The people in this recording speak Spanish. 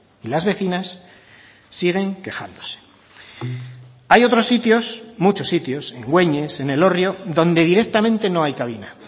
y las vecinas siguen quejándose hay otros sitios muchos sitios en güeñes en elorrio donde directamente no hay cabina